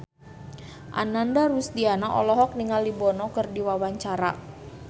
Ananda Rusdiana olohok ningali Bono keur diwawancara